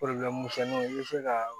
misɛnninw i bɛ se ka